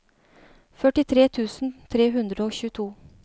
førtitre tusen tre hundre og tjueto